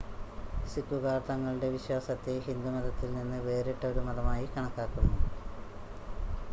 സിക്കുകാർ തങ്ങളുടെ വിശ്വാസത്തെ ഹിന്ദുമതത്തിൽ നിന്ന് വേറിട്ട ഒരു മതമായി കണക്കാക്കുന്നു